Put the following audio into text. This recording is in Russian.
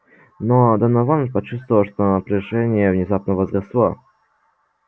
но донован почувствовал что напряжение внезапно возросло